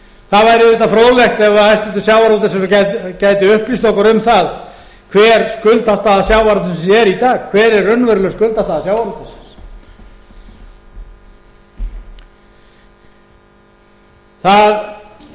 það væri auðvitað fróðlegt ef hæstvirtur sjávarútvegsráðherra gæti upplýst okkur um það hver skuldastaðan sjávarútvegsins er í dag hver er raunveruleg skuldastaða sjávarútvegsins það er alveg